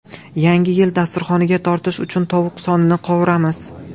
Yangi yil dasturxoniga tortish uchun tovuq sonini qovuramiz.